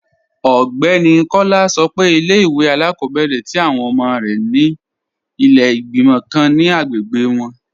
Ọgbẹni Kọla sọ́ pé ilẹ̀-ìwé alákọ̀bẹ̀rẹ̀ tí awọn ọmọ rẹ ni ilẹ̀ igbimọ̀ kàn ni agbègbè wọn.